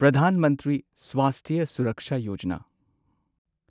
Pradhan Mantri Swasthya Suraksha Yojana